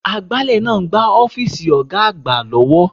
Agbálẹ̀ ń gbá ọ́fíìsì Ọ̀ga àgbà lọ́wọ́